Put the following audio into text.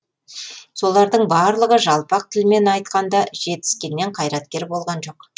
солардың барлығы жалпақ тілімен айтқанда жетіскеннен қайраткер болған жоқ